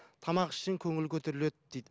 тамақ ішсең көңіл көтеріледі дейді